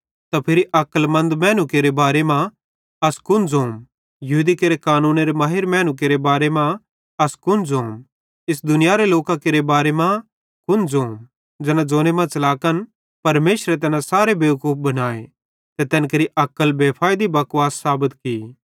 त फिरी अक्लमन्द मैनू केरे बारे मां अस कुन ज़ोम यहूदी केरे कानूनेरे महिर मैनू केरे बारे मां अस कुन ज़ोम इस दुनियारो लोकां केरे बारे मां कुन ज़ोम ज़ैना ज़ोने मां च़लाकन परमेशरे तैना सारे बेवकूफ बनाए ते तैन केरि अक्ल बेफैइदी बकवास साबत की